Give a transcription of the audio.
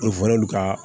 ka